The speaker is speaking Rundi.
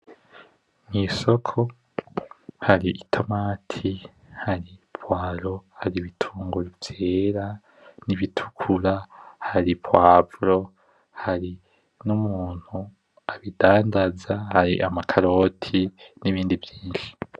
Mw'isoko hari itomati hari ipwaro hari ibitunguru vyera n'ibitukura hari pwavro hari n'umuntu abidandaza hari amakaroti n'ibindi vyinshi.